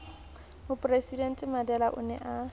mopresidente mandela o ne a